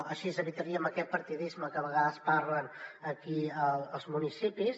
així evitaríem aquest partidisme que a vegades parlen aquí els municipis